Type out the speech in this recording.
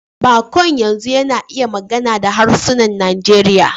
Baƙon yanzu yana iya magana da harsunan Najeriya.